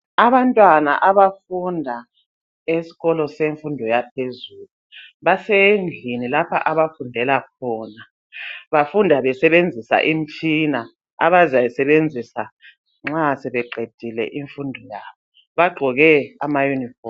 Abantwana abafunda esikolo esemfundo yaphezulu. Basendlini lapha abafundela khona. Bafunda besebenzisa uimitshina abazayisebenzisa nxa sebeqedile imfundo yabo. Bagqoke ama-uniform.